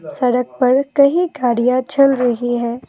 सड़क पर कहीं गाड़ियां चल रही हैं।